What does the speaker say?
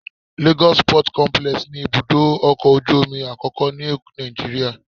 Lagos Port Complex ni ibùdó ọkọ̀ ojú omi àkọ́kọ́ ni Nàìjíríà